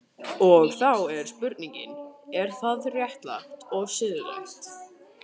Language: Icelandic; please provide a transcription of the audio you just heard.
Og þá er spurningin, er það, er það réttlátt og siðlegt?